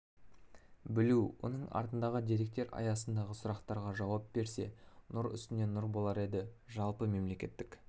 білу оның артындағы деректер аясындағы сұрақтарға жауап берсе нұр үстіне нұр болар еді жалпы мемлекеттік